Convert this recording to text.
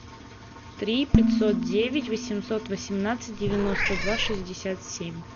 три пятьсот девять восемьсот восемнадцать девяносто два шестьдесят семь